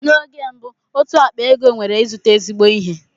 Na oge mbụ otú ákpá ego nwere ịzụta ezigbo ihe.